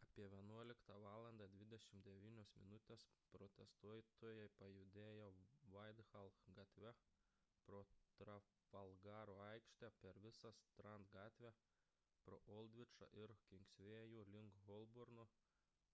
apie 11.29 val protestuotojai pajudėjo whitehall gatve pro trafalgaro aikštę per visą strand gatvę pro oldvičą ir kingsvėjų link holborno